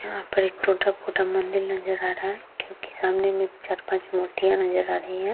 यहाँ पर एक ठो टूटा -फूटा मंदील नजर आ रहा है जो की सामने में चार-पाँच मूर्तियां नजर आ रही है।